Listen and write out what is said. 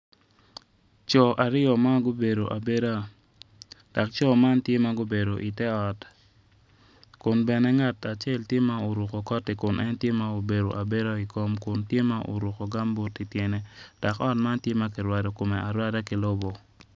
Co aryo ma gubedo abeda dok co man tye ma gubedo ite ot kun bene ngat acel tye ma oruko koti kun en tye ma obedo abeda i kom kun tye ma oruko kambut ityene dok ot man kirwado kome arwada ki lobo.